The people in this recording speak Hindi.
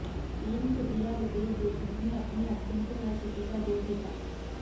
तीन फुटिया रितेश देशमुख ने अपनी एक्टिंग से हर किसी का दिल जीता